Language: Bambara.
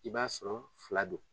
I b'a sɔrɔ fila don